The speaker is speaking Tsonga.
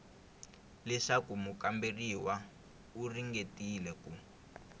leswaku mukamberiwa u ringetile ku